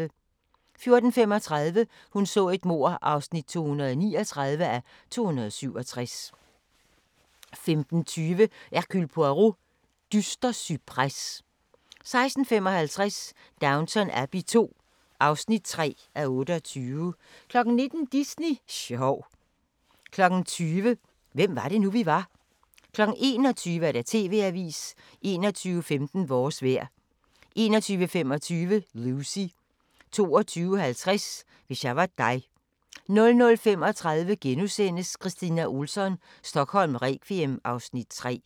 14:35: Hun så et mord (239:267) 15:20: Hercule Poirot: Dyster cypres 16:55: Downton Abbey II (3:28) 19:00: Disney sjov 20:00: Hvem var det nu, vi var? 21:00: TV-avisen 21:15: Vores vejr 21:25: Lucy 22:50: Hvis jeg var dig 00:35: Kristina Ohlsson: Stockholm requiem (Afs. 3)*